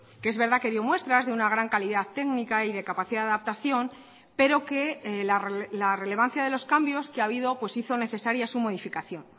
que es verdad que dio muestras de una gran calidad técnica y de capacidad de adaptación pero que la relevancia de los cambios que ha habido pues hizo necesaria su modificación